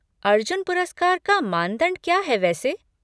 अर्जुन पुरस्कार का मानदंड क्या है वैसे?